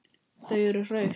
Þau eru hraust